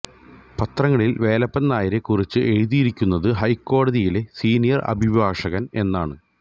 പത്രങ്ങളിൽ വേലപ്പൻ നായരെ കുറിച്ച് എഴുതിയിരിക്കുന്നത് ഹൈക്കോടതിയിലെ സീനിയർ അഭിഭാഷകൻ എന്നാണ്